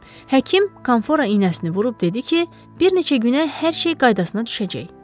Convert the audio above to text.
Həkim konfora inəsini vurub dedi ki, bir neçə günə hər şey qaydasına düşəcək.